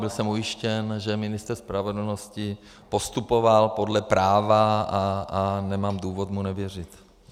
Byl jsem ujištěn, že ministr spravedlnosti postupoval podle práva, a nemám důvod mu nevěřit.